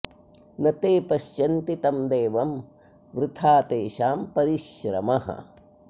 न ते पश्यन्ति तं देवं वृथा तेषां परिश्रमः